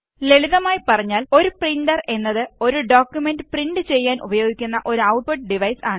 ലളിതമായി പറഞ്ഞാല് ഒരു പ്രിന്റെർ എന്നത് ഒരു ഡോക്കുമെന്റ് പ്രിന്റ് ചെയ്യാന് ഉപയോഗിയ്ക്കുന്ന ഒരു ഔട്ട്പുട്ട് ഡിവൈസ് ആണ്